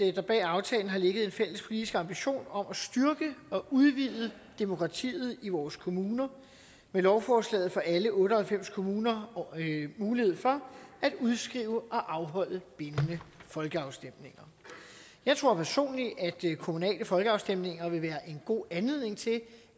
at der bag aftalen har ligget en fælles politisk ambition om at styrke og udvide demokratiet i vores kommuner med lovforslaget får alle otte og halvfems kommuner mulighed for at udskrive og afholde bindende folkeafstemninger jeg tror personligt at kommunale folkeafstemninger vil være en god anledning til